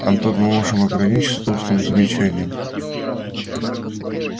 антон мы можем ограничиться устным замечанием